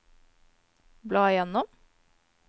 bla gjennom